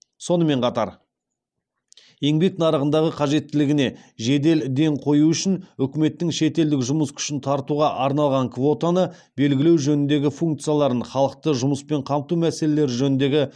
сонымен қатар еңбек нарығындағы қажеттілігіне жедел ден қою үшін үкіметтің шетелдік жұмыс күшін тартуға арналған квотаны белгілеу жөніндегі функцияларын халықты жұмыспен қамту мәселелері жөніндегі